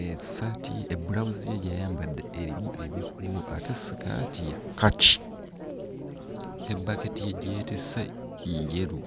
essaati bbulawuzi ye gy'ayambadde erimu ebikuubo ate sikaati ye ya kkaki. Ebbaketi ye gye yeetisse njeru.